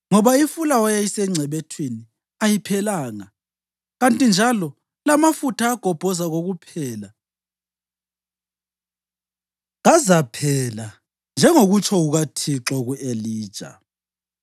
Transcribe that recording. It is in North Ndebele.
Ngoba ifulawa eyayisengcebethwini ayiphelanga, kanti njalo lamafutha agobhoza kokuphela kazaphela njengokutsho kukaThixo ku-Elija.